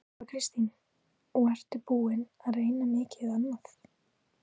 Þóra Kristín: Og ertu búinn að reyna mikið annað?